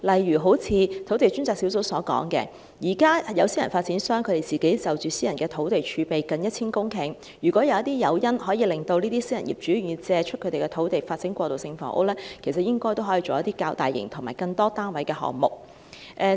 土地供應專責小組便曾提出，現時私人發展商擁有近 1,000 公頃的私人土地儲備，如果有一些誘因令私人業主願意借出土地以發展過渡性房屋，應可發展一些較大型和更多單位的項目。